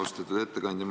Austatud ettekandja!